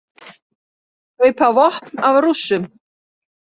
Kaupa vopn af Rússum